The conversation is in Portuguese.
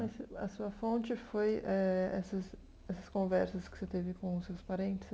Nesse a sua fonte foi eh essas essas conversas que você teve com os seus parentes?